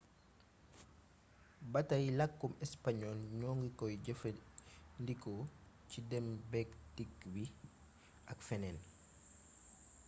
batay lakkum español ñoo ngi koy jëfee ndi ko ci dém béek dikk bi ak fénéén